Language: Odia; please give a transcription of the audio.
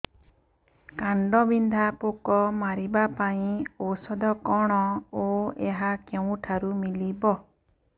କାଣ୍ଡବିନ୍ଧା ପୋକ ମାରିବା ପାଇଁ ଔଷଧ କଣ ଓ ଏହା କେଉଁଠାରୁ ମିଳିବ